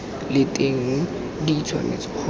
leng teng di tshwanetse go